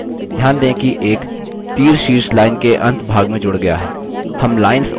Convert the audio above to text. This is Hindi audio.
ध्यान दें कि एक तीरशीर्ष line के अंत भाग में जुड़ गया है